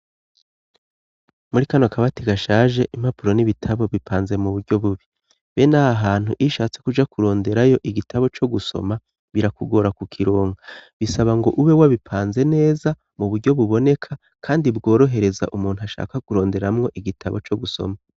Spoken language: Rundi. Muri kano kabati gashaje impapuro n'ibitabo bipanze mu buryo bubi, ben' aha hantu iy'ushatse kuja kuronderayo igitabo co gusoma birakugora ku kironga bisaba ngo ube wabipanze neza mu buryo buboneka ,kandi bworohereza umuntu ashaka kuronderamwo igitabo co gusoma.